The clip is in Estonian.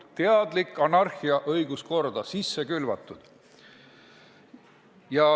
Teadlikult on anarhia õiguskorda sisse külvatud.